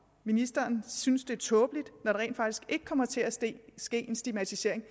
ministeren synes det er tåbeligt når rent faktisk ikke kommer til at ske en stigmatisering